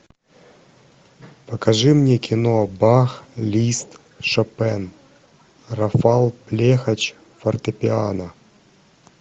покажи мне кино бах лист шопен рафал блехач фортепиано